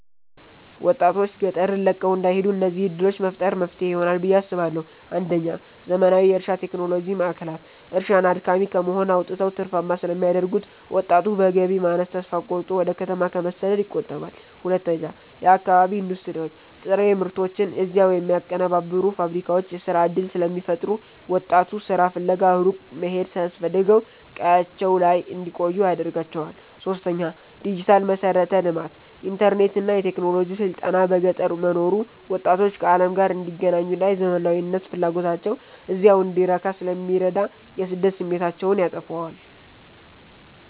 ወጣቶች ገጠርን ለቀው እንዳይሄዱ እነዚህን ዕድሎች መፍጠር መፍትሄ ይሆናል ብየ አስባለሁ ፩. ዘመናዊ የእርሻ ቴክኖሎጂ ማዕከላት፦ እርሻን አድካሚ ከመሆን አውጥተው ትርፋማ ስለሚያደርጉት፣ ወጣቱ በገቢ ማነስ ተስፋ ቆርጦ ወደ ከተማ ከመሰደድ ይቆጠባል። ፪. የአካባቢ ኢንዱስትሪዎች፦ ጥሬ ምርቶችን እዚያው የሚያቀነባብሩ ፋብሪካዎች የሥራ ዕድል ስለሚፈጥሩ፣ ወጣቱ ሥራ ፍለጋ ሩቅ መሄድ ሳያስፈልገው ቀያቸው ላይ እንዲቆዩ ያደርጋቸዋል። ፫. ዲጂታል መሠረተ ልማት፦ ኢንተርኔትና የቴክኖሎጂ ስልጠና በገጠር መኖሩ ወጣቶች ከዓለም ጋር እንዲገናኙና የዘመናዊነት ፍላጎታቸው እዚያው እንዲረካ ስለሚረዳ የስደት ስሜታቸውን ያጠፋዋል።